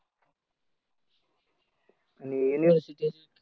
आणि युनिव्हर्सिटीत.